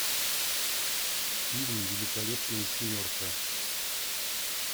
фильм великолепная семерка